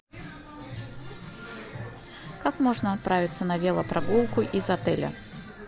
как можно отправиться на велопрогулку из отеля